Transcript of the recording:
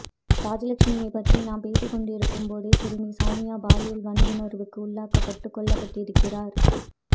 ராஜலட்சுமியைப் பற்றி நாம் பேசிக் கொண்டிருக்கும்போதே சிறுமி சவுமியா பாலியல் வன்புணர்வுக்கு உள்ளாக்கப்பட்டு கொல்லப்பட்டிருக்கிறார்